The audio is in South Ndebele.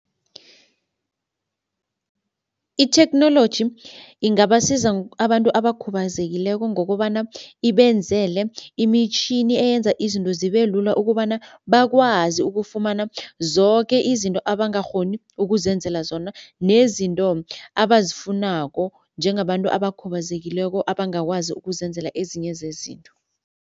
Itheknoloji ingabasiza abantu abakhubazekileko ngokobana ibenzele imitjhini eyenza izinto zibelula ukobana bakwazi ukufumana zoke izinto abangakghoni ukuzenzela zona nezinto abazifunako njengabantu abakhubazekileko abangakwazi ukuzenzela ezinye zezinto.